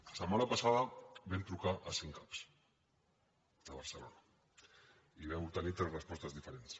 la setmana passada vam trucar a cinc cap de barcelona i vam obtenir tres respostes diferents